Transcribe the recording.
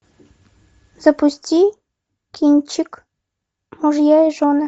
запусти кинчик мужья и жены